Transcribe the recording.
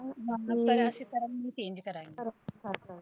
ਪ੍ਰਾਸ਼ੀ ਧਰਮ ਨੂੰ Change ਕਰਾਇਆ